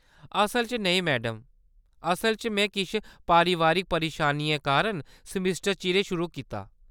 असल च नेईं, मैडम, असल च, में किश पारिवारिक परेशानियें कारण सेमेस्टर चिरें शुरू कीता।